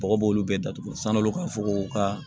Bɔgɔ b'olu bɛɛ datugu san'olu ka fɔ ko ka